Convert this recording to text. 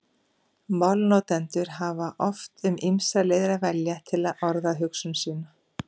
Málnotendur hafa oft um ýmsar leiðir að velja til að orða hugsun sína.